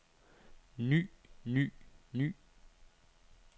ny ny ny